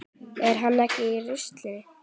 Er hann ekki í rusli?